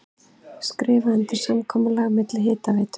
Skrifað undir samkomulag milli Hitaveitu